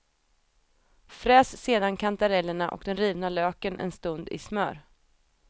Fräs sedan kantarellerna och den rivna löken en stund i smör.